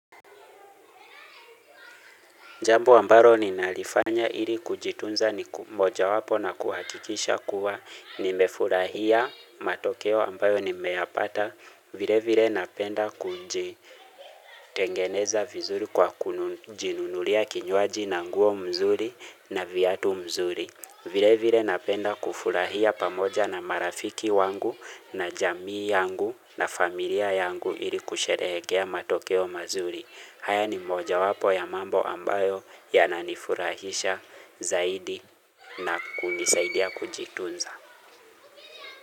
Jambo ambalo ninalifanya ili kujitunza ni moja wapo na kuhakikisha kuwa nimefurahia matokeo ambayo nimeyapata vile vile napenda kuji tengeneza vizuri kwa kujinunulia kinywaji na nguo mzuri na viatu mzuri. Vile vile napenda kufurahia pamoja na marafiki wangu na jamii yangu na familia yangu ili kusherehekea matokeo mazuri. Haya ni moja wapo ya mambo ambayo ya nanifurahisha zaidi na kunisaidia kujitunza.